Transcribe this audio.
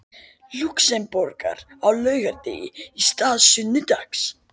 Lúxemborgar á laugardegi í stað sunnudags.